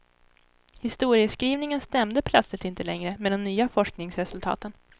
Historieskrivningen stämde plötsligt inte längre med de nya forskningsresultaten.